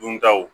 Duntaw